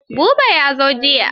Habu ya zo jiya.